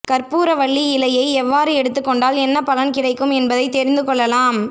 கற்பூரவள்ளி இலையை எவ்வாறு எடுத்துக் கொண்டால் என்ன பலன் கிடைக்கும் என்பதை தெரிந்து கொள்ளலாம்